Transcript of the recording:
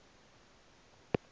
theodor busse's